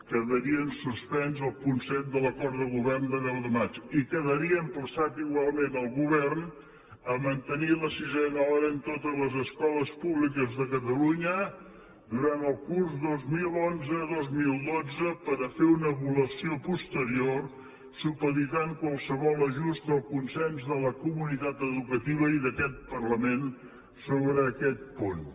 quedaria en suspens el punt set de l’acord de govern de deu de maig i quedaria emplaçat igualment el govern a mantenir la sisena hora en totes les escoles públiques de catalunya durant el curs dos mil onze dos mil dotze per a fer una avaluació posterior supeditant qualsevol ajust al consens de la comunitat educativa i d’aquest parlament sobre aquest punt